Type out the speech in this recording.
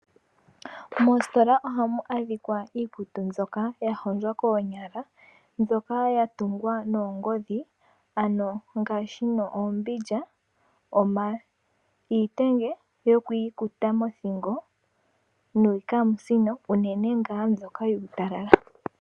Moositola ohamu adhikwa iikutu mbyoka yahondjwa koonyala, mbyoka yatungwa noongodhi ano ngaashi oombindja, iitenge yokwiikuta mothingo, niikamusino uunene ngaa mbyoka yuutalala.